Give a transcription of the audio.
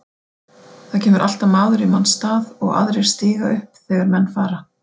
Það kemur alltaf maður í manns stað og aðrir stíga upp þegar menn fara.